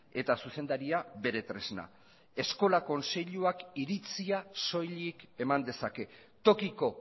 eta zuzendaria bere tresna eskola kontseiluak iritzia soilik eman dezake tokiko